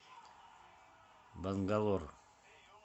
бангалор